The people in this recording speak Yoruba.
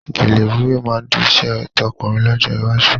Gèlè wíwé máa di iṣẹ́ tọ̀kúnrin lọ́jọ́ iwájú